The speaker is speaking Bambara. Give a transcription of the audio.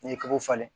N'i ye kɔgɔ falen